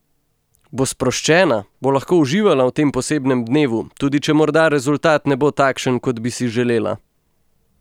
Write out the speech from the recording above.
Bo sproščena, bo lahko uživala v tem posebnem dnevu, tudi če morda rezultat ne bo takšen, kot bi si želela?